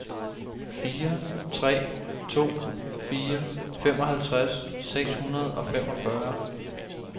fire tre to fire femoghalvtreds seks hundrede og femogfyrre